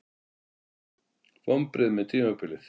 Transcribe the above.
Vonbrigði með tímabilið